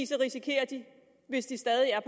så risikerer de hvis de stadig er